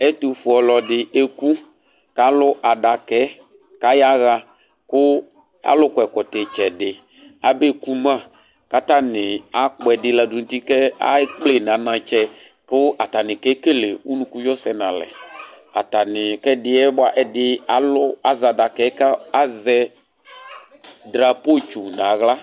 Ɛtufue ɔlɔdi eku kalu adaka kaɣa ku alu kɔ ɛkɔtɔ itsɛdi aba ekuma katani akpɔ ɛdi ladu nu uti kekple nu anatsɛ katani kekele unuku vio sɛ nalɛ atani ku ɛdiɛ azɛ adakɛ azɛ drapo tsu naɣla